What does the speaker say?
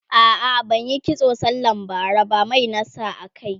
a'a ban Yi kitso sallan bara ba Mai na sa a kai